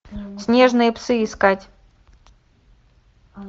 снежные псы искать